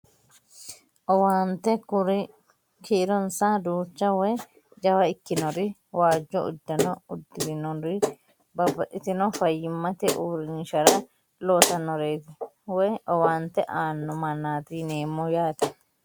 Owaante kuri kiironsa duucha woyi jawa ikkinori waajjo uddano uddirinori babbaxxitino fayyimmate uurrinshara loosannoreeti woyi owaante aanno mannaati yineemmo yaate